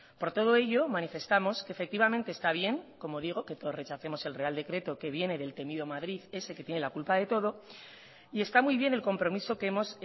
por todo ello manifestamos que efectivamente está bien como digo que todos rechacemos el real decreto que viene del temido madrid ese que tiene la culpa de todo y está muy bien el compromiso que hemos